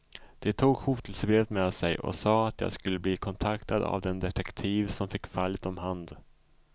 De tog hotelsebrevet med sig och sade att jag skulle bli kontaktad av den detektiv som fick fallet om hand.